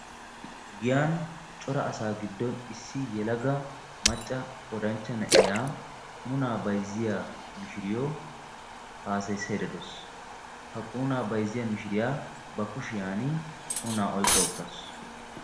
Giyaan cora asa giddon issi yelaga macca oddanchcha na'iyaa mishiriyo haassayssaydda de'awusu. Ha qunuuna bayzziya mishiriyaa ba kushiyaan qunuun oyqqa uttaasu.